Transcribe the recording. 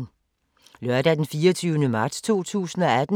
Lørdag d. 24. marts 2018